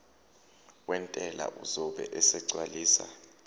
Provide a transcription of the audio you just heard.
wentela uzobe esegcwalisa